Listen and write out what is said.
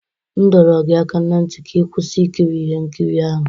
M dọrọ gị aka na ntị ka ị kwụsị ikiri ihe nkiri ahụ!